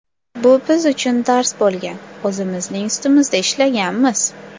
Bu biz uchun dars bo‘lgan, o‘zimizning ustimizda ishlaganmiz.